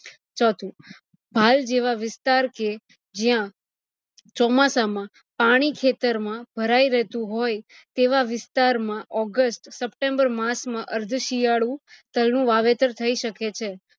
ચોથું ભાલ જેવા વિસ્તાર કે જ્યાં ચોમાસામાં પાણી ખેતર માં ભરાય રહેતું હોય તેવા વિસ્તાર માં august september માસ માં અર્થ શિયાળુ તલ નું વાવેતર થય શકે છે